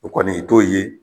O kɔni i t'o ye